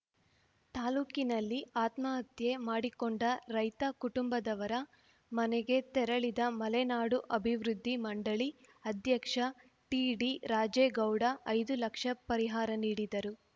ತಾಲೂಕಿನಲ್ಲಿ ಆತ್ಮಹತ್ಯೆ ಮಾಡಿಕೊಂಡ ರೈತ ಕುಟುಂಬದವರ ಮನೆಗೆ ತೆರಳಿದ ಮಲೆನಾಡು ಅಭಿವೃದ್ಧಿ ಮಂಡಳಿ ಅಧ್ಯಕ್ಷ ಟಿಡಿ ರಾಜೇಗೌಡ ಐದು ಲಕ್ಷ ಪರಿಹಾರ ನೀಡಿದರು